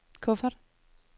kuffert